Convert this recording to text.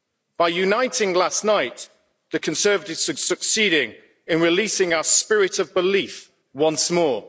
By uniting last night, the Conservatives are succeeding in releasing our spirit of belief once more.